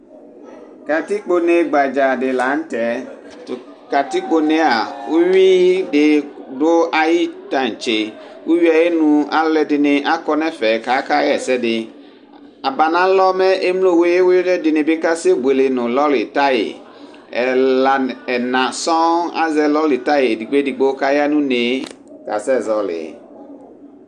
katikpɔnɛ gaha lanutɛ tɔ katikpɔnɛ nɛyɛ ɔwidɩ bɔaihɔ tahɛ ɔwɩ ́ayinu alɔdini akɔnɛfɛ kakaɛsɛdi abanalɔmɛ ɛlɔwiwidini akasɛbɔlɛ nu loritaya ɛla nu ɛma sɔ azɛ loritayaɛ kaya nu nɛ kasɛzɔli